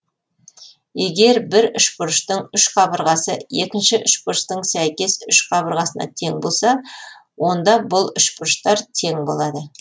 егер бір үшбұрыштың үш қабырғасы екінші үшбұрыштың сәйкес үш қабырғасына тең болса онда бұл үшбұрыштар тең болады